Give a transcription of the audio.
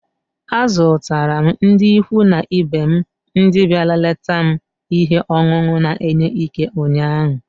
Azụtara m ndị ikwu na ibe m ndị bịara leta m ihe ọṅụṅụ na-enye Ike ụnyaahụ.